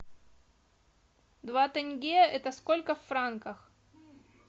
два тенге это сколько в франках